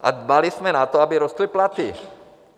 A dbali jsme na to, aby rostly platy.